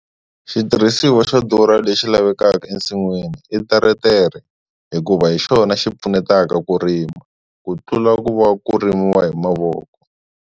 Xitirhisiwa xa durha lexi lavekaka ensinwini i teretere hikuva hi xona xi pfunetaka ku rima, ku tlula ku va ku rimiwa hi mavoko.